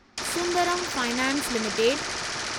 Sundaram finance limited